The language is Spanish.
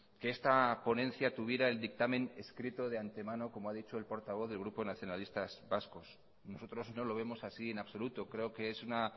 que esta ponencia tuviera el dictamen escrito de antemano como ha dicho el portavoz del grupo nacionalistas vascos nosotros no lo vemos así en absoluto creo que es una